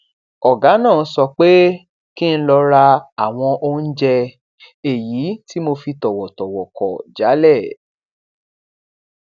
ògá náà sọ pé kí n lọ ra àwọn oúnjẹ èyí tí mo fi tọwọtọwọ kò jálè